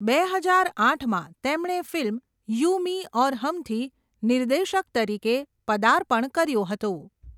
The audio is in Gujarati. બે હજાર આઠમાં તેમણે ફિલ્મ 'યૂ મી ઔર હમ'થી નિર્દેશક તરીકે પદાર્પણ કર્યું હતું.